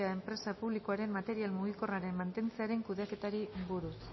sa enpresa publikoaren material mugikorraren mantentzearen kudeaketari buruz